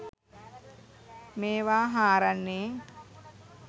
මේවා හාරන්නේ?